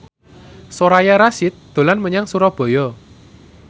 Soraya Rasyid dolan menyang Surabaya